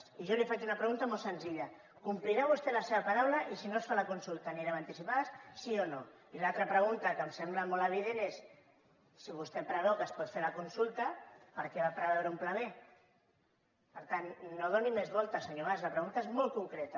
i jo li faig una pregunta molt senzilla complirà vostè la seva paraula i si no es fa la consulta anirem a anticipades sí o no i l’altra pregunta que em sembla molt evident és si vostè preveu que es pot fer la consulta per què va preveure un pla b per tant no hi doni més voltes senyor mas la pregunta és molt concreta